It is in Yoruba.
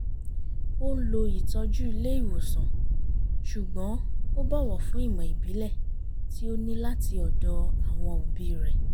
ó ń lo ìtọ́jú ilé ìwòsàn ṣùgbọ́n ó bọ̀wọ̀ fún ìmọ̀ ìbílẹ̀ tí ó ní láti ọ̀dọ̀ àwọn òbí rẹ̀